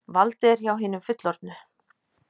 Valdið er hjá hinum fullorðnu.